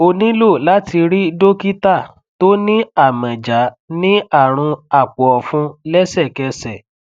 o nilo láti rí dokita tó ní amọja ní àrùn àpòọfun lẹsẹkẹsẹ